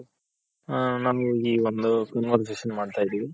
ನಾವು ಈ ಒಂದು Conversation ಮಾಡ್ತಾ ಇದಿವಿ.